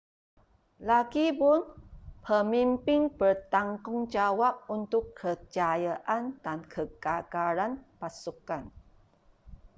lagipun pemimpin bertanggungjawab untuk kejayaan dan kegagalan pasukan